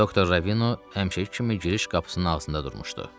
Doktor Ravino həmişəki kimi giriş qapısının ağzında durmuşdu.